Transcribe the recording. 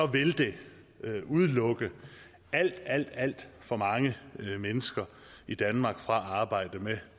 vil det udelukke alt alt alt for mange mennesker i danmark fra at arbejde med